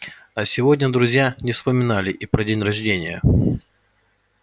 а сегодня друзья не вспоминали и про день рождения